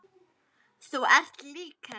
Þú ert lík henni.